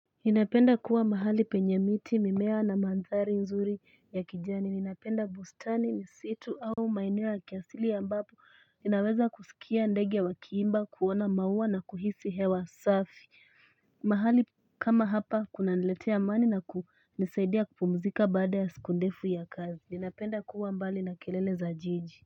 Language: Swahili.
Ninapenda kuwa mahali penye miti, mimea na mandhari nzuri ya kijani. Ninapenda bustani, msitu au maeneo ya kiasili ambapo ninaweza kusikia ndege wakiimba, kuona maua na kuhisi hewa safi. Mahali kama hapa kunaniletea amani na kunisaidia kupumzika baada ya siku ndefu ya kazi. Ninapenda kuwa mbali na kelele za jiji.